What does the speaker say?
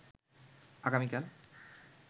আগামীকাল